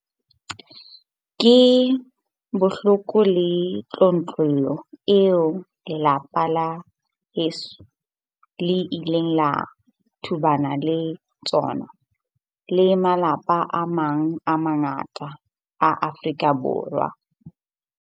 Ke bohloko le tlontlollo eo lelapa leso le ileng la tobana le tsona, le malapa a mang a mangata a Afrika Borwa.